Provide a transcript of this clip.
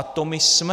A to my jsme!